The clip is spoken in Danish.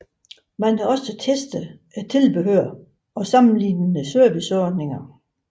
Man testede også tilbehør og sammenlignede serviceomkostninger